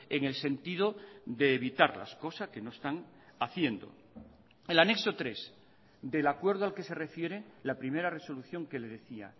en el sentido de evitarlas cosa que no están haciendo el anexo tres del acuerdo al que se refiere la primera resolución que le decía